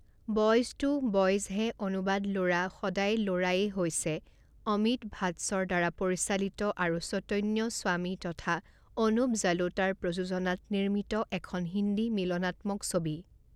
Boys তো boys হে অনুবাদ ল'ৰা সদায় ল'ৰায়েই হৈছে অমিত ভাটছৰ দ্বাৰা পৰিচালিত আৰু চৈতন্য স্বামী তথা অনুপ জালোটাৰ প্ৰযোজনাত নিৰ্মিত এখন হিন্দী মিলনাত্মক ছবি।